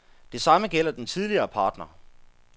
Det samme gælder den tidligere partner.